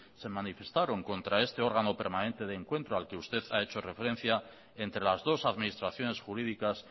se manifestaron contra este órgano permanente de encuentro al que usted ha hecho referencia entre las dos administraciones jurídicas